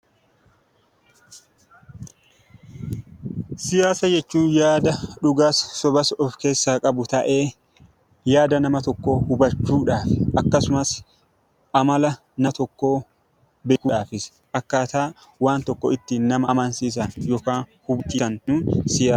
Siyaasa jechuun yaada dhugaas sobas of keessaa qabu ta'ee yaada nama tokkoo hubachuudhaan akkasumas amala nama tokkoo beekuudhaafis akkaataa waan tokko ittiin nama amansiisan yookaan hubachiisaniin siyaasa jenna.